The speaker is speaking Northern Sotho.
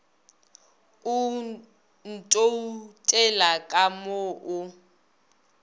o ntoutela ka mo o